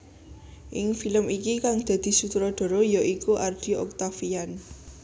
Ing film iki kang dadi sutradara ya iku Ardy Octaviand